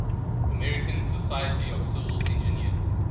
american society of civil engineers